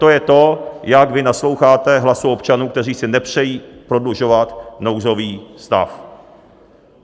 To je to, jak vy nasloucháte hlasu občanů, kteří si nepřejí prodlužovat nouzový stav.